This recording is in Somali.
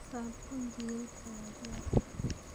Saabuun dhireed ayaa diyaar ah.